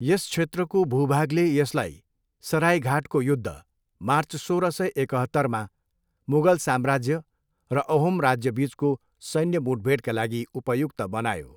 यस क्षेत्रको भूभागले यसलाई सराइघाटको युद्ध, मार्च सोह्र सय एकहत्तरमा मुगल साम्राज्य र अहोम राज्यबिचको सैन्य मुठभेडका लागि उपयुक्त बनायो।